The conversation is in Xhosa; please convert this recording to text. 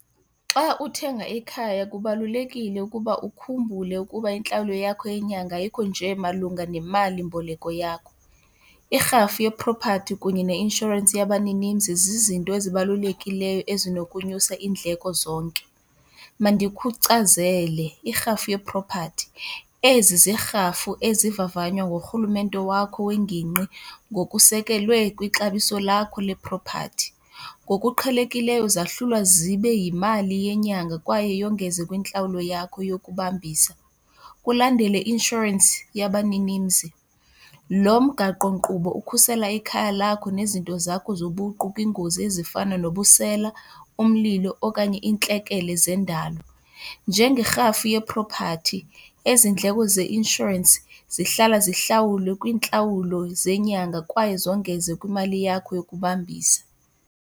Xa uthenga ikhaya kubalulekile ukuba ukhumbule ukuba intlawulo yakho yenyanga ayikho nje malunga nemalimboleko yakho. Irhafu yeprophathi kunye neinshorensi yabaninimzi zizinto ezibalulekileyo ezinokunyusa iindleko zonke. Mandikuchazele irhafu yeprophathi, ezi ziirhafu ezivavanywa ngurhulumente wakho wengingqi ngokusekelwe kwixabiso lakho leprophathi. Ngokuqhelekileyo zahlulwa zibe yimali yenyanga kwaye yongeze kwintlawulo yakho yokubambisa. Kulandele i-inshorensi yabaninimzi, lo mgaqonkqubo ukhusela ikhaya lakho nezinto zakho zobuqu kwiingozi ezifana nobusela, umlilo okanye iintlekele zendalo. Njengerhafu yeprophathi, ezi ndleko zeinshorensi zihlala zihlawulwe kwiintlawulo zenyanga kwaye zongeze kwintlawulo yakho yokubambisa.